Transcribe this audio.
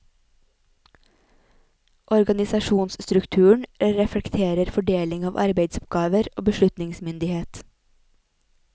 Organisasjonsstrukturen reflekterer fordeling av arbeidsoppgaver og beslutningsmyndighet.